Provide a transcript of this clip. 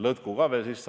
Jah, see on väga õige.